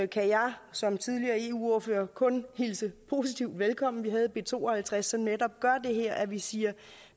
kan jeg som tidligere eu ordfører kun hilse positivt velkommen vi havde b to og halvtreds som netop gør det her altså at vi siger at